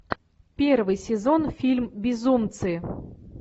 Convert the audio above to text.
первый сезон фильм безумцы